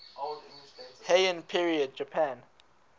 heian period japan